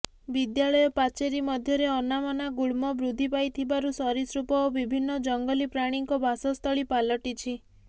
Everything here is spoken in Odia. ବିଦ୍ୟାଳୟ ପାଚେରୀ ମଧ୍ୟରେ ଅନାବନା ଗୁଳ୍ମ ବୃଦ୍ଧି ପାଇଥିବାରୁ ସରୀସୃପ ଓ ବିଭିନ୍ନ ଜଙ୍ଗଲୀ ପ୍ରାଣୀଙ୍କ ବାସସ୍ଥଳୀ ପାଲଟିଛି